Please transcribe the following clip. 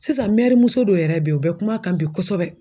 Sisan mɛri muso dɔ yɛrɛ bɛ ye u bɛ kuma a kan bi kosɛbɛ.